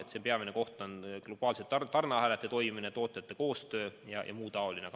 Siin on peamine globaalsete tarneahelate toimimine, tootjate koostöö jms.